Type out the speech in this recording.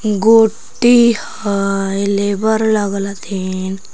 गोट्टी हई लेबर लगल हथिन।